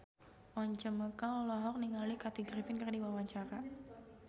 Once Mekel olohok ningali Kathy Griffin keur diwawancara